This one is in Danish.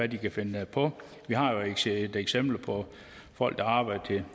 de kan finde på vi har jo set eksempler på folk der arbejdede